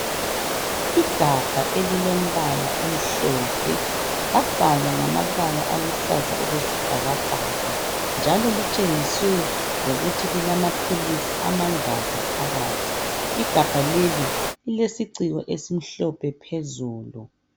igabha elilombala omhlophe labhalwa ngamabala aluhlaza okwesibhakabhaka njalo litshengiswe lokuthi lilamaphilizi amagaki phakathi igabha leli lilesiciko esimhlophe phezulu